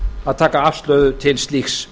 að taka afstöðu til slíks